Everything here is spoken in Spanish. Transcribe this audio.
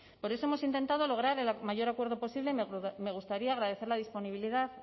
por eso hemos intentado lograr el mayor acuerdo posible y me gustaría agradecer la disponibilidad